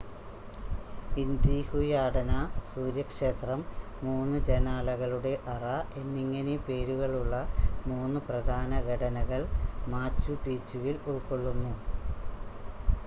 ഇൻ്റിഹുയാടന സൂര്യക്ഷേത്രം മൂന്ന് ജനാലകളുടെ അറ എന്നിങ്ങനെ പേരുകളുള്ള മൂന്ന് പ്രധാന ഘടനകൾ മാച്ചു പീച്ചുവിൽ ഉൾകൊള്ളുന്നു